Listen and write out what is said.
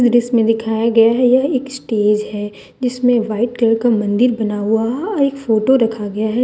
जिसमें दिखाया गया है यह एक स्टेज है जिसमें वाइट कलर का मंदिर बना हुआ एक फोटो रखा गया है।